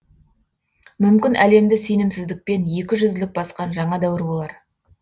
мүмкін әлемді сенімсіздікпен екі жүзділік басқан жаңа дәуір болар